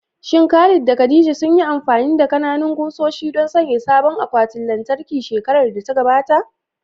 Shin Khalid da khadia sunyi amfani da ƙananan ƙusoshi don sanya sabon akwatin lantarki shekarar da ta gabata?